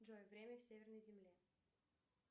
джой время в северной земле